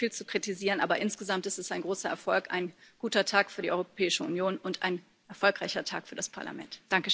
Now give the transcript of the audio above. Es gäbe noch viel zu kritisieren, aber insgesamt ist es ein großer Erfolg, ein guter Tag für die Europäische Union und ein erfolgreicher Tag für das Parlament.